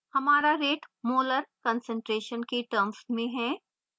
हमारा rate molar concentration की terms में है